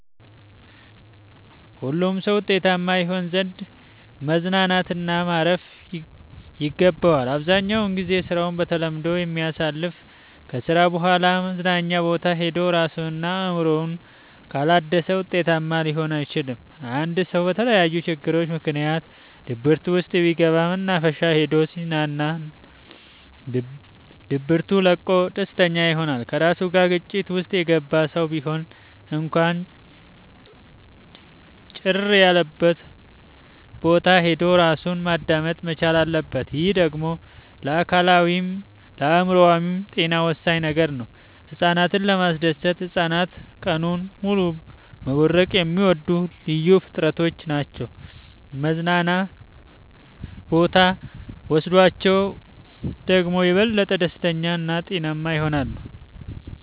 ሁሉም ሰው ውጤታማ ይሆን ዘንድ መዝናናት እና ማረፍ ይገባዋል። አብዛኛውን ግዜውን በስራ ተጠምዶ የሚያሳልፍ ከስራ በኋላ መዝናኛ ቦታ ሄዶ እራሱን እና አእምሮውን ካላደሰ ውጤታማ ሊሆን አይችልም። አንድ ሰው በተለያዩ ችግሮች ምክንያት ድብርት ውስጥ ቢገባ መናፈሻ ሄዶ ሲዝናና ድብቱ ለቆት ደስተኛ ይሆናል። ከራሱ ጋር ግጭት ውስጥ የገባ ሰው ቢሆን እንኳን ጭር ያለቦታ ሄዶ እራሱን ማዳመጥ መቻል አለበት። ይህ ደግሞ ለአካላዊይም ለአእምሮአዊም ጤና ወሳኝ ነገር ነው። ህፃናትን ለማስደሰት ህፃናት ቀኑን ሙሉ መቦረቅ የሚወዱ ልዩ ፍጥረቶች ናቸው መዝናና ቦታ ብኖስዳቸው ደግሞ የበለጠ ደስተኛ እና ጤናማ ይሆናሉ።